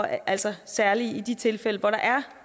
altså særligt i de tilfælde hvor der er